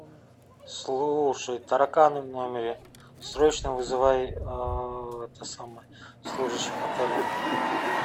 слушай тараканы в номере срочно вызывай это самое служащих отеля